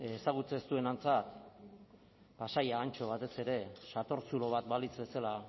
ezagutzen ez duenarentzat pasai antxo batez ere sator zulo bat balitz bezala